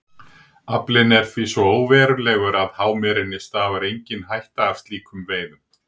Aflinn er því svo óverulegur að hámerinni stafar engin hætta af slíkum veiðum.